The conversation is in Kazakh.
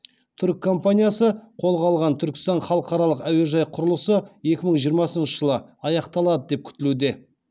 түрік компаниясы қолға алған түркістан халықаралық әуежай құрылысы екі мың жиырмасыншы жылы аяқталады деп күтілуде